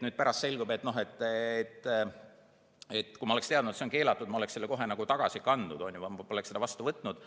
Pärast selgub, et kui ma oleksin teadnud, et see on keelatud, siis ma oleksin selle kohe tagasi kandnud, ma poleks seda vastu võtnud.